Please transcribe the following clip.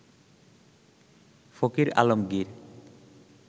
Fakir Alamgir